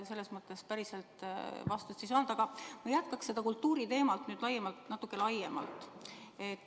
Ega ma päriselt vastust ei saanud, aga ma jätkaks kultuuriteemat nüüd natuke laiemalt.